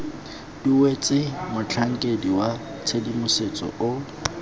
duetswe motlhankedi wa tshedimosetso o